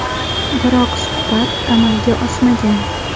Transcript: Biroq suhbat amalga oshmagan.